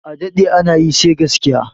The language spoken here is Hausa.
A daɗe ana yi sai gaskiya